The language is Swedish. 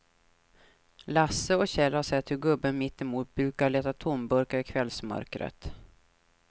Lasse och Kjell har sett hur gubben mittemot brukar leta tomburkar i kvällsmörkret.